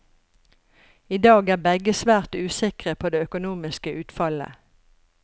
I dag er begge svært usikre på det økonomiske utfallet.